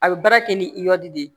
A bɛ baara kɛ ni iyɔdi de ye